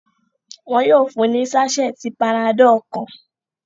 Wọ́n yóò fún ní sásẹ́ẹ̀tì panadol kan.